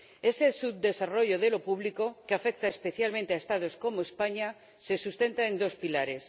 Ese subdesarrollo de lo público, que afecta especialmente a Estados como España, se sustenta en dos pilares.